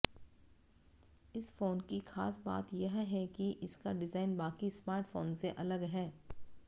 इस फोन की खास बात यह है कि इसका डिजाइन बाकी स्मार्टफोन से अलग है